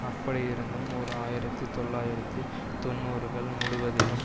அப்படியிருந்தும் ஓர் ஆயிரத்தி தொள்ளாயிரத்தி தொன்னூறுகள் முழுவதிலும்